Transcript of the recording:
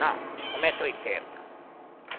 Não, só um metro e oitenta.